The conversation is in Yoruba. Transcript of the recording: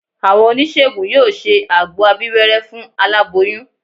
Àwọn oníṣègùn yóò ṣe àgbo abíwẹ́rẹ́ fún aláboyún